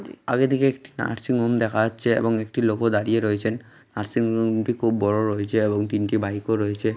আগে দিকে একটি নার্সিংহোম দেখা যাচ্ছে এবং একটি লোকও দাঁড়িয়ে রয়েছেন নার্সিংহোম -টি খুব বড় হয়েছে এবং তিনটি বাইক রয়েছে।